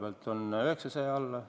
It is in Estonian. Seda on alla 900 miljoni.